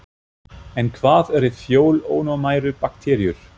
En hvað eru fjölónæmar bakteríur?